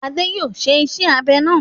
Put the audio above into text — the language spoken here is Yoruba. Adé yóò ṣe iṣẹ́-abẹ náà.